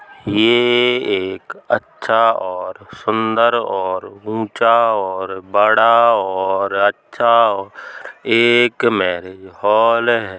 ये एक अच्छा और सुंदर और ऊंचा और बड़ा और अच्छा ओ एक मैरिज हॉल है।